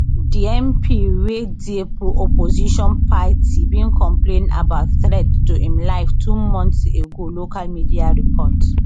di mp wey dey opposition party bin complain about threats to im life two months ago local media report